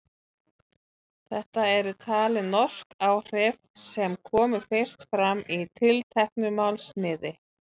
Þetta eru talin norsk áhrif sem komu fyrst fram í tilteknu málsniði.